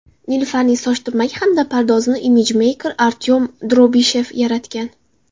Nilufarning soch turmagi hamda pardozini imijmeyker Artyom Drobishev yaratgan.